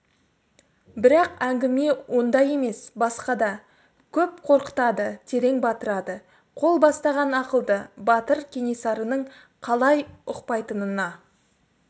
бірақ әңгіме онда емес басқада көп қорқытады терең батырады қол бастаған ақылды батыр кенесарының қалай ұқпайтынына